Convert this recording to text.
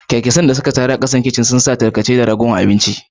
kyankyasai ne suka taru a kasan kicin, suna tsira daga tarkace da ragowar abinci.